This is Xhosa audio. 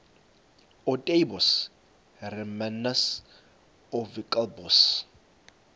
ootaaibos hermanus oowilberforce